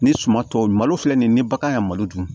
Ni suman tɔw malo filɛ nin ye ni bagan ka malo dun